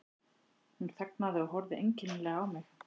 Hún þagnaði og horfði einkennilega á mig.